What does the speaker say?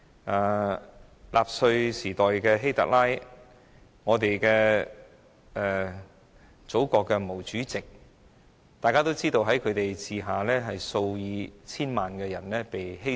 例如納粹時代的希特拉、祖國的毛主席，在他們的管治下，數以千萬計的人的性命被犧牲。